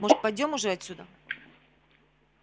может пойдём уже отсюда